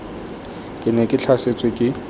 ke ne ke tlhasetswe ke